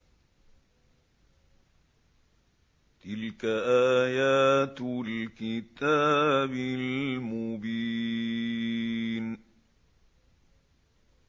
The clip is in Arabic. تِلْكَ آيَاتُ الْكِتَابِ الْمُبِينِ